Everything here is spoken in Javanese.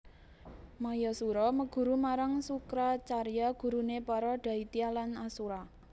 Mayasura meguru marang Sukracarya guruné para daitya lan asura